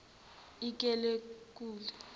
ikileku